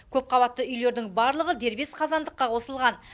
көпқабатты үйлердің барлығы дербес қазандыққа қосылған